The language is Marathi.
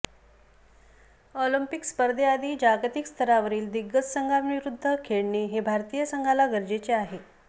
ऑलिम्पिक स्पर्धेआधी जागतिक स्तरावरील दिग्गज संघाविरुद्ध खेळणे हे भारतीय संघाला गरजेचे आहे